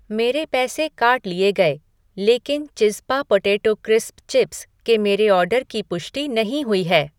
मेरे पैसे काट लिए गए, लेकिन चिज़्ज़पा पोटेटो क्रिस्प्स चिप्स के मेरे ऑर्डर की पुष्टि नहीं हुई है।